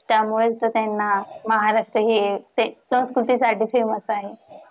त्यामुळेच तर त्यांना महाराष्ट्र हे ते संस्कृती साठी famous आहे.